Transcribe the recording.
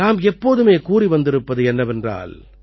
நாம் எப்போதுமே கூறிவந்திருப்பது என்னவென்றால்